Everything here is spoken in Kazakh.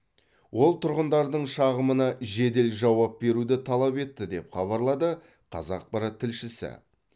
ол тұрғындардың шағымына жедел жауап беруді талап етті деп хабарлады қазақпарат тілшісі